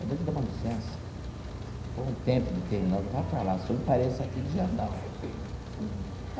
Eu vou te dar uma licença por um tempo determinado, vai para lá, só me apareça aqui dia tal.